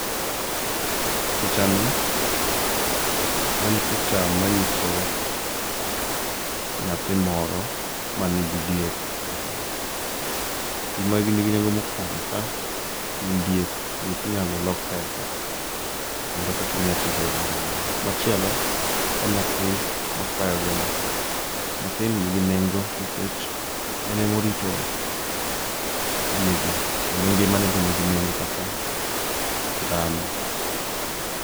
Pichani en picha manyiso nyathi moro man gi diek epap. Gimanigi nengo mokuongo ka , gin diek, diek inyalo lok pesa kendo pesano inyalo tigo eyo moro amora. Machielo en nyathi makwayo gini, nyathini nigi nengo nikech en emorito diegi kendo ngimane be nigi nengo kaka dhano.